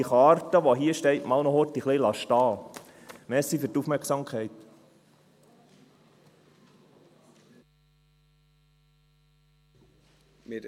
Die Karte, die ich auf das Rednerpult gestellt habe, lasse ich noch einen Moment da.